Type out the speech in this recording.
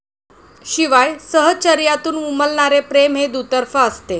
शिवाय सहचर्यातून उमलणारे प्रेम हे दुतर्फा असते.